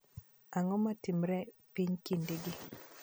Ang'o matimore epiny kindegi